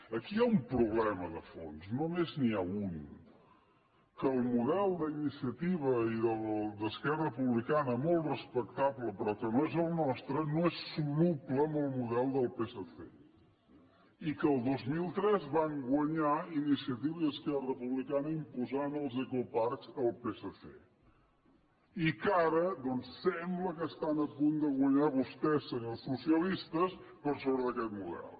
aquí hi ha un problema de fons només n’hi ha un que el model d’iniciativa i d’esquerra republicana molt respectable però que no és el nostre no és soluble amb el model del psc i que el dos mil tres van guanyar iniciativa i esquerra republicana i van imposar els ecoparcs al psc i que ara doncs sembla que estan a punt de guanyar vostès senyors socialistes per sobre d’aquest model